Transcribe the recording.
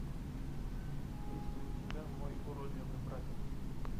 есть ли у тебя мой уродливый братец